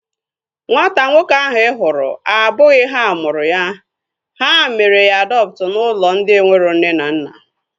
Nwata nwoke ahu ị hụrụ abụghị ha mụrụ ya. Ha mere ya adọptu n'ụlọ ndị enwero nne na nna